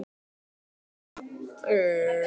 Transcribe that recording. Hvernig er stemningin hjá Drangey fyrir sumarið?